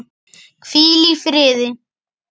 Hvíl í friði!